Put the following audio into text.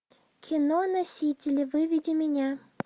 кино носители выведи меня